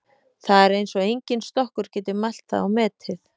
Það er eins og enginn stokkur geti mælt það og metið.